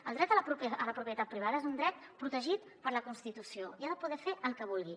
el dret a la propietat privada és un dret protegit per la constitució i n’ha de poder fer el que vulgui